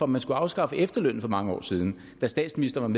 man skulle afskaffe efterlønnen for mange år siden da statsministeren